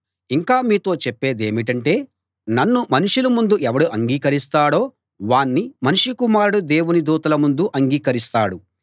ఇంకా మీతో చెప్పేదేమిటంటే నన్ను మనుషుల ముందు ఎవరు అంగీకరిస్తాడో వాణ్ణి మనుష్య కుమారుడు దేవుని దూతల ముందు అంగీకరిస్తాడు